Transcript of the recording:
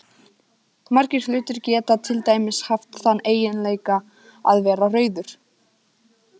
Margir hlutir geta til dæmis haft þann eiginleika að vera rauður.